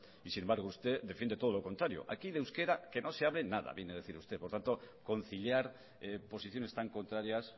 y sin embargo usted defiende todo lo contrario aquí el euskera que no se hable nada viene a decir usted por lo tanto conciliar oposiciones tan contrarias